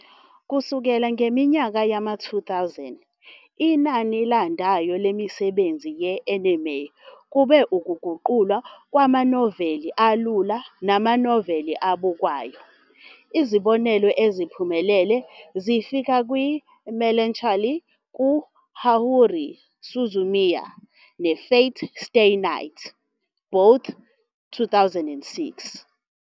Kusukela ngeminyaka yama-2000, inani elandayo lemisebenzi ye-anime kube ukuguqulwa kwamanoveli alula namanoveli abukwayo, izibonelo eziphumelele zifaka "iMelancholy kaHaruhi Suzumiya" "neFate - stay night", both 2006.